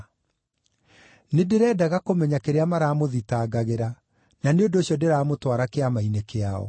Nĩndĩrendaga kũmenya kĩrĩa maramũthitangagĩra, na nĩ ũndũ ũcio ndĩramũtwara Kĩama-inĩ kĩao.